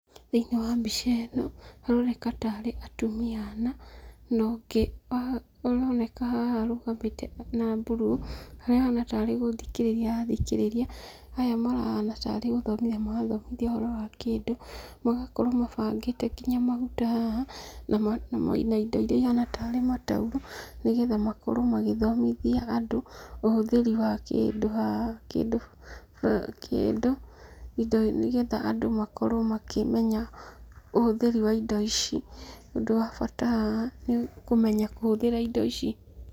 Thĩinĩ wa mbica ĩno, haroneka tarĩ atumia ana, nongĩ aroneka haha arũgamĩte ena mburuu, harĩa ahana tarĩ gũthikĩrĩria arathikĩrĩria, aya marahana tarĩ gũthomithia marathomithia ũhoro wa kĩndũ, magakorwo mabangĩte nginya maguta haha, na indo iria ihana tarĩ mataurũ, nĩgetha makorwo magĩthomithia andũ, ũhũthĩri wa kĩndũ haha, kĩndũ kĩndũ nĩgetha andũ makorwo makĩmenya ũhũthĩri wa indo ici, ũndũ wa bata haha nĩ kũmenya kũhũthĩra indo ici.